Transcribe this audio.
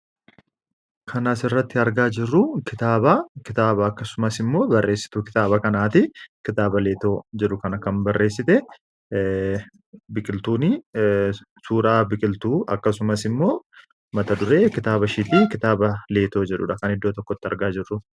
Kan asirratti argaa jirru, kitaaba. Kitaaba akkasumas barreessituu kitaaba kanaati. Kitaaba 'Leetoo' jedhu kana kan barreessite biqiltuun, suuraa biqituu akkasumas immoo mata dureen kitaaba isheetii leetoo jedhudha kan iddoo tokkotti kan argaa jirru.